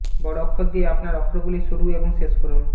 বড় অক্ষর দিয়ে আপনার অক্ষরগুলি শুরু এবং শেষ করুন